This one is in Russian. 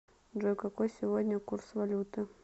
джой какой сегодня курс валюты